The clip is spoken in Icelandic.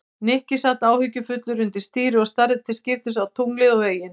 Nikki sat áhyggjufullur undir stýri og starði til skiptist á tunglið og veginn.